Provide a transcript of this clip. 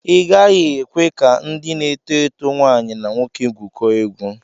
Ị gaghị ekwe ka ndị na-eto eto nwaanyi na nwoke gwụkọọ egwu.